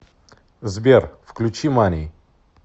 сбер включи мани